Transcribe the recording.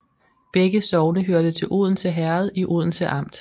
Begge sogne hørte til Odense Herred i Odense Amt